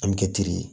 An bɛ kɛ teri ye